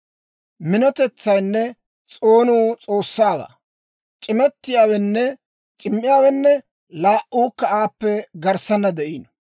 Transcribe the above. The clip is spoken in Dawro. «Minotetsaynne s'oonuu S'oossaawaa; c'imettiyaawenne c'immiyaawenne laa"uukka aappe garssaana de'iino.